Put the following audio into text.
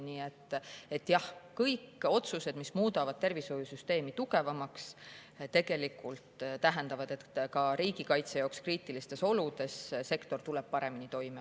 Nii et jah, kõik otsused, mis muudavad tervishoiusüsteemi tugevamaks, tegelikult tähendavad, et ka riigikaitse jaoks kriitilistes oludes tuleb sektor paremini toime.